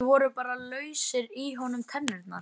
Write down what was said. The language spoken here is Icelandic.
Kannski voru bara lausar í honum tennurnar.